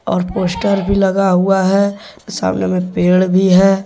और पोस्टर भी लगा हुआ है सामने में पेड़ भी है।